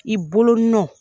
I bolo nɔn